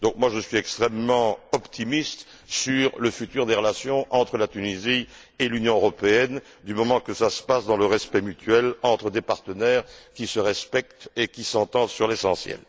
Je suis donc extrêmement optimiste sur l'avenir des relations entre la Tunisie et l'Union européenne, du moment que ça se passe dans le respect mutuel, entre des partenaires qui se respectent et qui s'entendent sur l'essentiel.